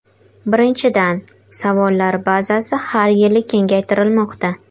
Birinchidan, savollar bazasi har yili kengaytirilmoqda.